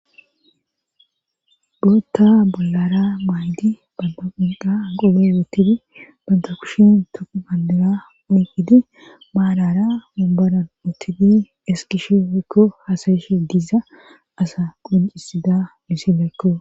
bootta bollara maaydi banta qunqa qobe woottidi banta kushin toqu bandira ukidi maalara mumboran uttidi eskish woykko hasayishe diza asa qoncisida misileekko